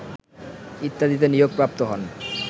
ইত্যাদিতে নিয়োগপ্রাপ্ত হন